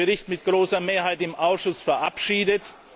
Wir haben diesen Bericht mit großer Mehrheit im Ausschuss verabschiedet.